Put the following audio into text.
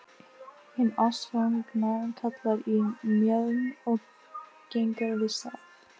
Hin ástfangna kalkar í mjöðm og gengur við staf.